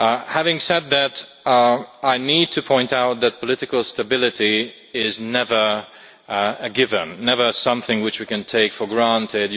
Having said that, I need to point out that political stability is never a given never something which we can take for granted.